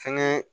Fɛnɛ